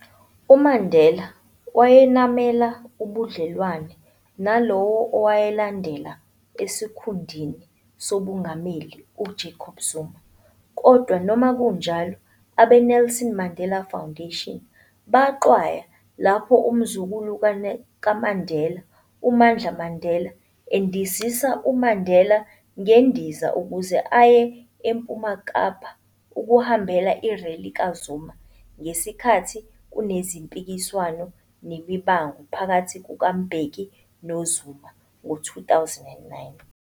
UMandela wayenamela ubudlelwane nalowo owalandela esikhundni sobungameli u-Jacob Zuma, kodwa noma kunjalo, abe-Nelson Mandela Foundation, baxhwaya lapho umzukulu kaMandela uMandla Mandela, endiziza uMandela ngendiza ukuze aye eMpuma Kapa ukuhambela irally kaZuma ngesikhathi kunezimpikiswano nemibango phakathi kukaMbeki noZuma ngo 2009.